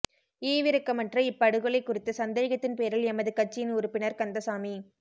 ஈவிரக்கமற்ற இப்படுகொலை குறித்து சந்தேகத்தின் பேரில் எமது கட்சியின் உறுப்பினர் கந்தசாமி